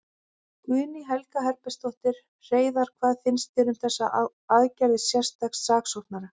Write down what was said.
Guðný Helga Herbertsdóttir: Hreiðar, hvað finnst þér um þessar aðgerðir sérstaks saksóknara?